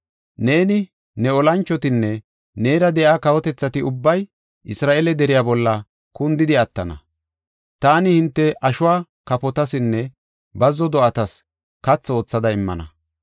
Neeni, ne olanchotinne neera de7iya kawotethati ubbay Isra7eele deriya bolla kundidi attana. Taani hinte ashuwa kafotasinne bazzo do7atas kathi oothada immana.